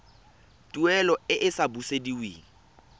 tuelo e e sa busediweng